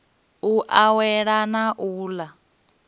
u awela na u ḽa